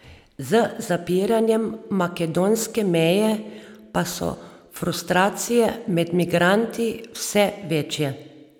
Z zapiranjem makedonske meje pa so frustracije med migranti vse večje.